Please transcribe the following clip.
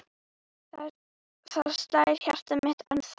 Þar slær hjartað mitt ennþá.